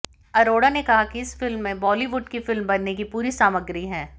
अरोड़ा ने कहा कि इस फिल्म में बॉलीवुड की फिल्म बनने की पूरी सामग्री है